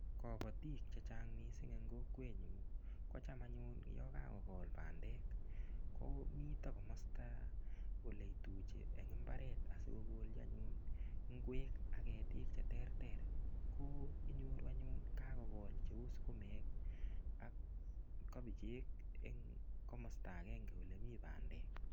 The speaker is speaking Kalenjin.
Kobotik chechang' mising' eng' kokwenyu kocham anyun yo kakokol bandek komito komosta ole ituchi eng' imbaret asikokolji anyun ng'wek ak ketik cheterter ko inyoru anyun kakokol cheu sukumek ak kobichek eng' komosta agenge ole mii bandek